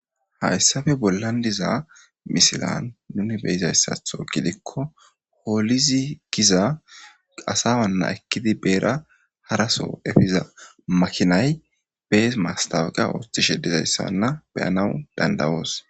Haysappe bolan diza misillan nuni be'zza gidikko holizy gizza asamana ekidi harasso mastawoqiya othishe dizzaysa beyanas dandayos.